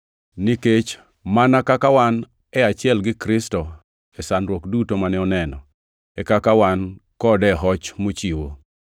Nikech, mana kaka wan e achiel gi Kristo e sandruok duto mane oneno, e kaka wan kode e hoch mochiwo.